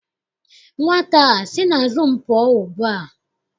Nwata a sị n'azụ m pụọ ugbua!